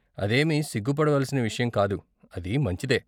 అదేమీ సిగ్గు పడవలసిన విషయం కాదు, అది మంచిదే.